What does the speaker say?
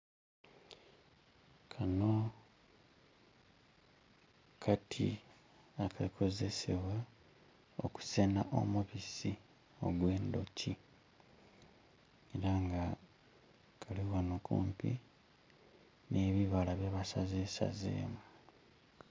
Kano kati aka kozesebwa okusena omubisi ogw'endhoki era nga kali ghano kumpi n'ebibala bye basazesaze.